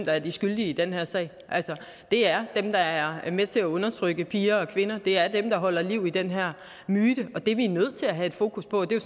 er de skyldige i den her sag det er dem der er med til at undertrykke piger og kvinder det er dem der holder liv i den her myte og det er vi nødt til at have et fokus på og det er